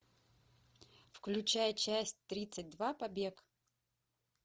включай часть тридцать два побег